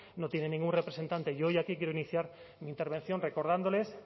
no tienen ningún representante y hoy aquí quiero iniciar mi intervención recordándoles